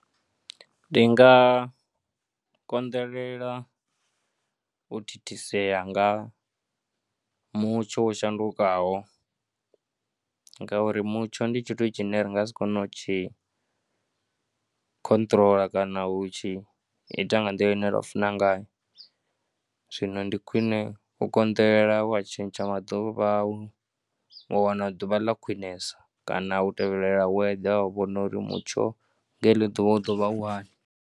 Ndi nga konḓelela u thithisea nga mutsho wa u shandukaho ngauri mutsho ndi tshithu tshine ri nga si kone u tshi khonṱhoroḽa kana u tshi ita nga nḓila ine ra funa ngayo. Zwino ndi khwine u konḓelela wa tshintsha maḓuvha au wa wana ḓuvha ḽa khwinesa kana u tevhelela weather u vhona uri mutsho nga heḽo ḓuvha u ḓo vha u hani.